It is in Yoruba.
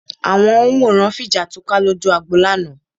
Àwọn òǹwòran fi jà túká lójú agbo lánàá